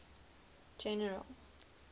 general